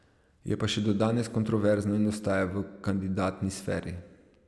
Je pa še do danes kontroverzno in ostaja v kandidatni sferi.